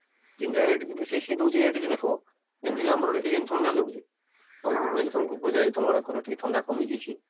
କିନ ଜାଗା ତ ବେଶୀ ସିଜୁଛି ଯେମିତି ଆମ ଆଡେ ଥଣ୍ଡା ଲାଗୁଛେ ତମର ଆଡେ ତମକୁ ପଚାରିଲେ ତମ ଆଡେ ଟିକେ ଥଣ୍ଡା କମିଛେ